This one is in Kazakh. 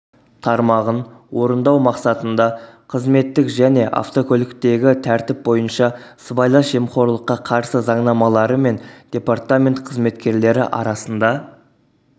тармағын орындау мақсатында қызметтік және автокөліктегі тәртіп бойынша сыбайлас жемқорлыққа қарсы заңнамаларымен департамент қызметкерлері арасында